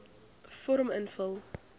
vorm invul